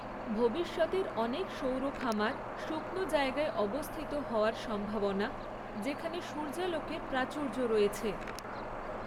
ভবিষ্যতের অনেক সৌর খামার শুকনো জায়গায় অবস্থিত হওয়ার সম্ভাবনা, যেখানে সূর্যালোকের প্রাচুর্য রয়েছে।